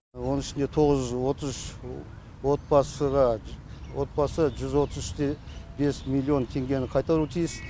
оның ішінде тоғыз жүз отыз үш отбасы жүз отыз үш те бес миллион теңгені қайтаруы тиіс